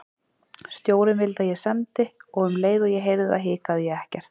Stjórinn vildi að ég semdi og um leið og ég heyrði það hikaði ég ekkert.